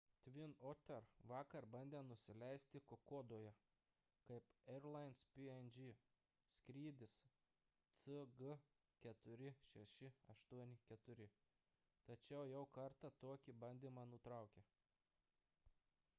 twin otter vakar bandė nusileisti kokodoje kaip airlines png skrydis cg4684 tačiau jau kartą tokį bandymą nutraukė